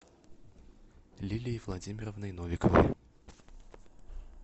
лилией владимировной новиковой